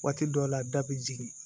Waati dɔw la da be jigin